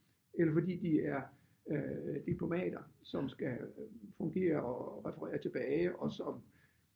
Eller fordi de er øh diplomater som skal fungere og referere tilbage og som